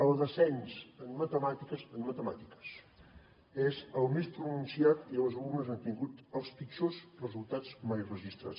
el descens en matemàtiques en matemàtiques és el més pronunciat i els alumnes han tingut els pitjors resultats mai registrats